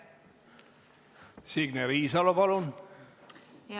Signe Riisalo, palun!